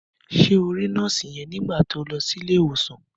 Ṣé o rí nọ́ọ̀sì yẹn nígbà to lọ sí ilé ìwòsàn?